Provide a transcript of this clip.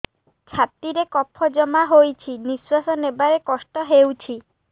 ଛାତିରେ କଫ ଜମା ହୋଇଛି ନିଶ୍ୱାସ ନେବାରେ କଷ୍ଟ ହେଉଛି